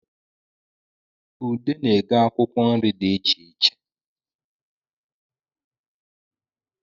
Ude na-ego akwụkwọ nri di icheiche